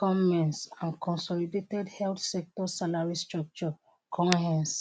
conmess and consolidated health sector salary structure conhess